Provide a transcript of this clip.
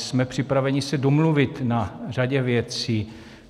Jsme připraveni se domluvit na řadě věcí.